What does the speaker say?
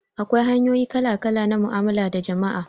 Akwai hanyoyi kala-kala na mu'amala da jama'a.